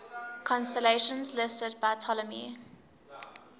constellations listed by ptolemy